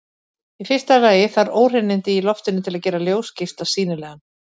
Í fyrsta lagi þarf óhreinindi í loftinu til að gera ljósgeisla sýnilegan.